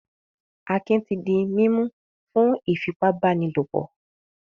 Akin ti di mímú fún ìfipábánilòpọ̀.